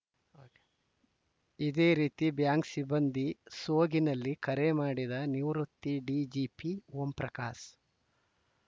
ಇದೇ ರೀತಿ ಬ್ಯಾಂಕ್‌ ಸಿಬ್ಬಂದಿ ಸೋಗಿನಲ್ಲಿ ಕರೆ ಮಾಡಿದ ನಿವೃತ್ತ ಡಿಜಿಪಿ ಓಂಪ್ರಕಾಶ್‌